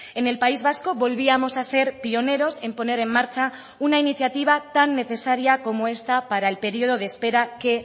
en el país vasco volvíamos a ser pioneros en poner en marcha una iniciativa tan necesaria como esta para el periodo de espera que